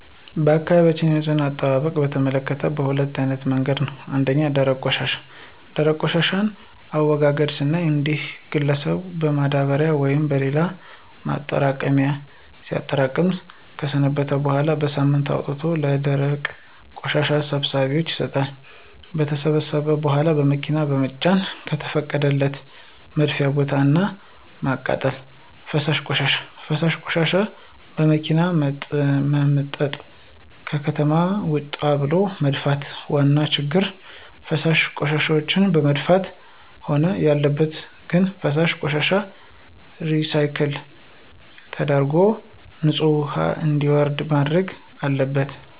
በአካባቢያችን የንፅህና አጠባበቅን በተመከተ በሁለት አይነት መንገድ ነው። ፩) ደረቅ ቆሻሻ፦ የደረቅ ቆሻሻን አወጋገድ ስናይ እያንዳንዱ ግለሰብን በማዳበሪያ ወይም በሌላ ማጠራቀሚያ ሲያጠራቅም ከሰነበተ በኋላ በሳምንቱ አውጥቶ ለደረቅ ቆሻሻ ሰብሳቢዎች ይሰጣሉ። ከተሰበሰበ በኋላ በመኪና በመጫን ከተፈቀደለት የመድፊያ ቦታ እና ማቃጠል። ፪) ፈሳሽ ቆሻሻ፦ ፈሳሽ ቆሻሻዎችን በመኪና በመምጠጥ ከከተማ ወጣ ብሎ መድፋት። ዋና ችግሩ ፈሳሽ ቆሻሻዎችን መድፋት? መሆን ያለበት ግን ፈሳሽ ቆሻሻዎችን ሪሳይክል ተደርጎ ንፅህ ውሀ እንዲወርድ መደረግ አለበት።